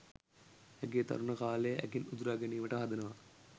ඇගේ තරුණ කාලය ඇගෙන් උදුරා ගැනීමට හදනවා.